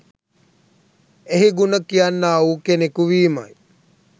එහි ගුණ කියන්නාවූ කෙනකු වීමයි.